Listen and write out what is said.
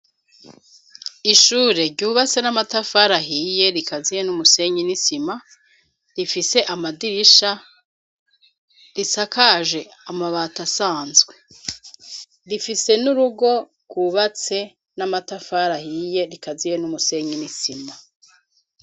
Ishure, ryubatse n'amatafari ahiye, rikaziye n'umusenyi n'isima, rifise amadirisha, risakaje amabati asanzwe; rifise n'urugo, rwubatse, n'amatafari ahiye, rikaziye n'umusenyi n'isima.